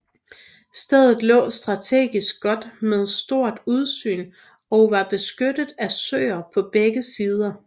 Stedet lå strategisk godt med stort udsyn og var beskyttet af søer på begge sider